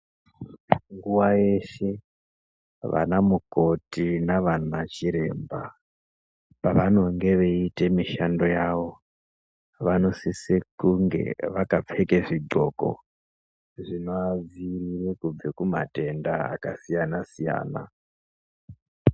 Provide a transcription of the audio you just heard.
Nguwa yeshe vana mukoti navana chiremba pavano nge veiite mishando yavo vanosise kunge vakapfeka zvinxoko zvinoadzivirira kubva kumatenda akasiya-siyana.